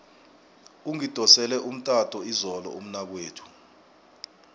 ungidosele umtato izolo umnakwethu